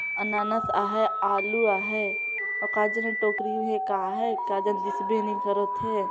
अनानास आहैं आलू आहैं अऊ का जाने टोकरी मे का हैं का जाने दिस दे नई करत हे।